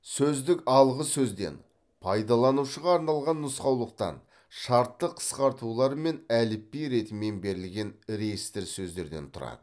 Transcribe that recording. сөздік алғы сөзден пайдаланушыға арналған нұсқаулықтан шартты қысқартулар мен әліпби ретімен берілген реестр сөздерден тұрады